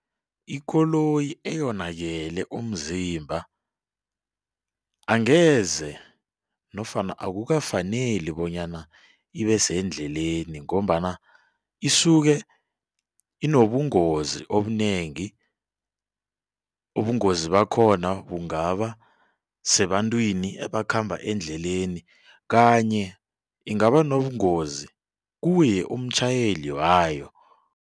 Ikoloyi eyonakele umzimba angeze nofana akukafaneli bonyana ibe sendleleni ngombana isuke inobungozi obunengi. Ubungozi bakhona bungaba sebantwini ebakhamba endleleni kanye ingaba nobungozi kuye umtjhayeli wayo.